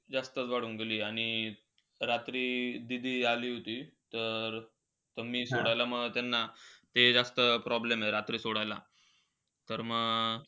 जास्त करून दिली आणि रात्री दीदी आली होती. तर मी सोडायला मग त्यांना, ते जास्त problem आहे रात्रीचा सोडायला. तर मग,